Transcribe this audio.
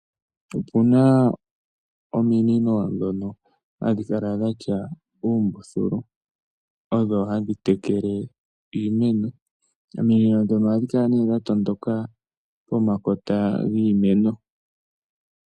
Opuna ominino dhono hadhi kala dhatya oombululu odho hadhi tekele iimeno. Ominino ndhono ohadhi kala ne dha tondoka pomakota giimeno.